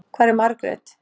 Hvar er Margrét?